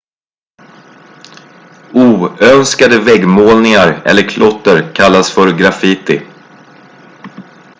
oönskade väggmålningar eller klotter kallas för graffiti